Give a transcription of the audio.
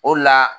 O la